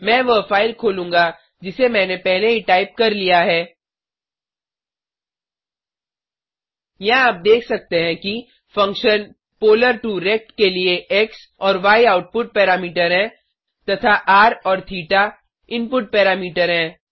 मैं वह फाइल खोलूँगा जिसे मैंने पहले ही टाइप कर लिया है यहाँ आप देख सकते हैं कि फंक्शन polar2रेक्ट के लिए एक्स और य आउटपुट पैरामीटर हैं तथा र और थेटा इनपुट पैरामीटर हैं